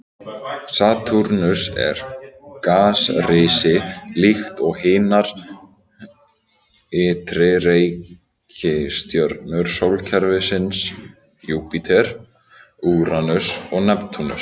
Satúrnus er gasrisi líkt og hinar ytri reikistjörnur sólkerfisins, Júpíter, Úranus og Neptúnus.